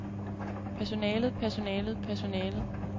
personalet personalet personalet